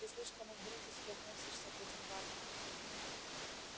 ты слишком уж дружески относишься к этим варварам